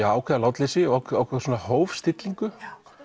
ákveðið látleysi ákveðna hófstillingu